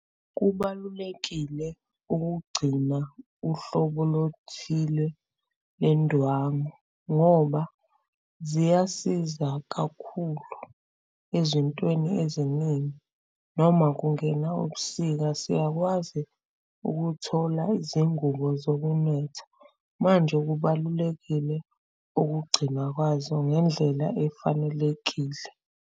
Kubalulekile ukugcina uhlobo lothile lendwangu ngoba ziyasiza kakhulu ezintweni eziningi noma kungena ubusika, siyakwazi ukuthola izingubo zokunetha manje kubalulekile ukugcinwa kwazo ngendlela efanelekile.